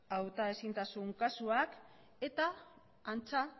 hautaezintasun kasuak eta antza